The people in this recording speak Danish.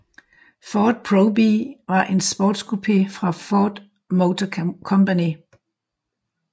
Ford Probe var en sportscoupé fra Ford Motor Company